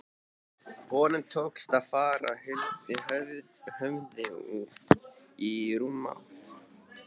Honum tókst að fara huldu höfði í rúmt ár.